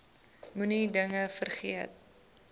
moenie dinge vergeet